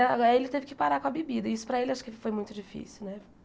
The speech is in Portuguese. Ele teve que parar com a bebida, e isso para ele acho que foi muito difícil, né?